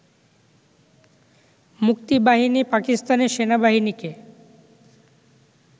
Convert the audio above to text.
মুক্তিবাহিনী পাকিস্তানের সেনাবাহিনীকে